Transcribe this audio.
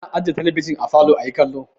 Ana ajiye talabijin a falo ayi kallo.